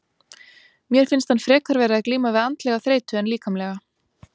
Mér finnst hann frekar vera að glíma við andlega þreytu en líkamlega.